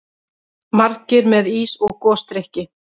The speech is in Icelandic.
Margir með ís og gosdrykki.